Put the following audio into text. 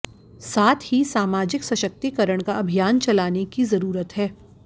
साथ ही सामाजिक सशक्तिकरण का अभियान चलाने की जरूरत है